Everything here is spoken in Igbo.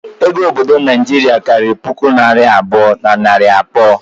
Ego obodo Naijiria karịrị puku naira abụọ na narị abụọ